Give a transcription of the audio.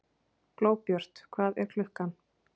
Glóbjört, hvað er klukkan?